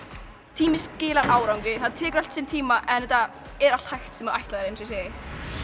tími skilar árangri það tekur allt sinn tíma en þetta er allt sem þú ætlar þér eins og ég segi